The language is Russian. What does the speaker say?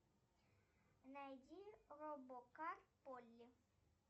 найди робокар полли